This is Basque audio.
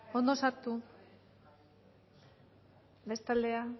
ondo sartu beste aldera